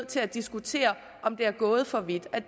til at diskutere om det er gået for vidt at